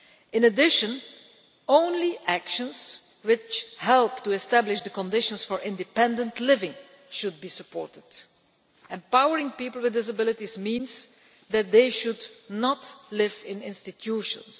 In addition, only actions which help to establish the conditions for independent living should be supported. Empowering people with disabilities means that they should not live in institutions.